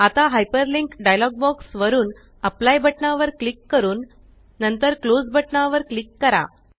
आता hyper link dialog box वरुन apply बटना वर क्लिक करून नंतर क्लोज बटना वर क्लिक करा